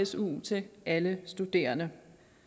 su til alle studerende